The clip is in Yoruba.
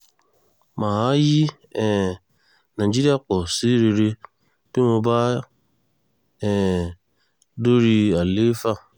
mà á yí um nàìjíríà pọ̀ sí rere tí mo bá um dorí àlééfà